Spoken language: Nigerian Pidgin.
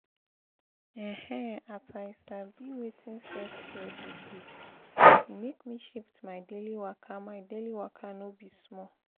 ehn as i sabi wetin self-care dey do e make me shift my daily waka my daily waka no be small!